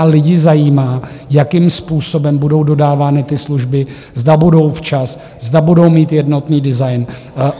A lidi zajímá, jakým způsobem budou dodávány ty služby, zda budou včas, zda budou mít jednotný design.